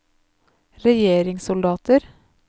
regjeringssoldater